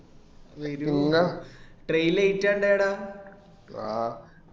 വരുന്ന train late ആയിന്ട